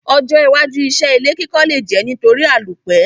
Ojó iwájú isé ilé kíkọ́ le je nítorí àlòpẹ́